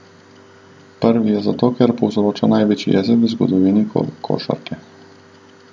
Prvi je zato, ker povzroča največ jeze v zgodovini košarke.